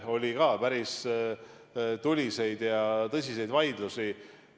Oli päris tuliseid ja tõsiseid vaidlusi.